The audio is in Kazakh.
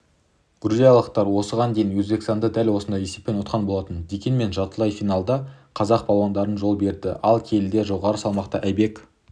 грузиялықтар осыған дейін өзбекстанды дәл осындай есеппен ұтқан болатын дегенмен жартылай финалда қазақ балуандарына жол берді ал келіден жоғары салмақта айбек